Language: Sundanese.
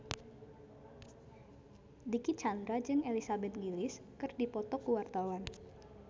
Dicky Chandra jeung Elizabeth Gillies keur dipoto ku wartawan